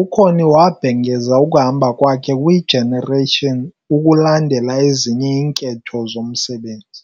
uConnie wabhengeza ukuhamba kwakhe kwiGenerations "ukulandela ezinye iinketho zomsebenzi".